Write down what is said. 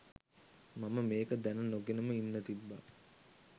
මම මේක දැන නොගෙනම ඉන්න තිබ්බා.